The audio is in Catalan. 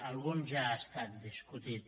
algun ja ha estat discutit